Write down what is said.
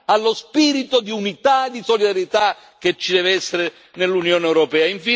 allo spirito di unità e di solidarietà che ci deve essere nell'Unione europea.